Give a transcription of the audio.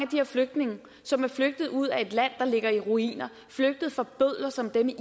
de flygtninge som er flygtet ud af et land der ligger i ruiner flygtet fra bødler som dem i